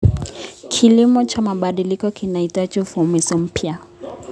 Kilimo cha mabadiliko kinahitaji uvumbuzi mpya.